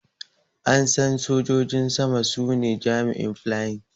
An San Sojojin sama su ne jami'in flying.